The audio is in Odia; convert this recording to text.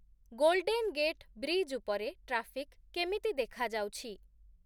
ଗୋଲ୍ଡେନ୍ ଗେଟ୍ ବ୍ରିଜ୍ ଉପରେ ଟ୍ରାଫିକ୍ କେମିତି ଦେଖାଯାଉଛି ?